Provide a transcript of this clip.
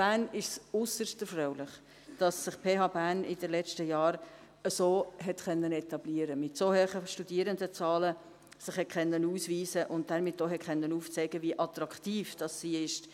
Bern ist es äusserst erfreulich, dass sich die PH Bern in den letzten Jahren so etablieren konnte, sich mit so hohen Studierendenzahlen ausweisen konnte und damit auch aufzeigen konnte, wie attraktiv sie ist.